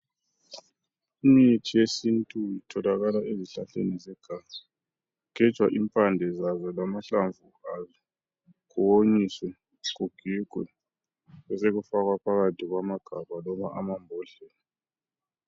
Imithi yesintu itholakala ezihlahleni zeganga. Kugejwa impande zazo, lamahlamvu azo. Kuwonyiswe, kugigwe. Besekufakwa phakathi kwamagabha, loba amambodlepa.